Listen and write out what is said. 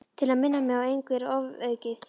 Til að minna mig á að engu er ofaukið.